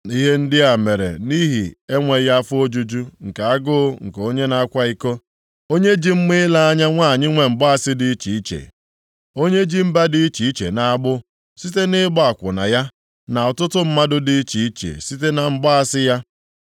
Ihe ndị a mere nʼihi enweghị afọ ojuju nke agụụ nke onye na-akwa iko, onye ji mma ile anya, nwanyị nwe mgbaasị dị iche iche, onye ji mba dị iche iche nʼagbụ site nʼịgba akwụna ya, na ọtụtụ mmadụ dị iche iche site na mgbaasị ya.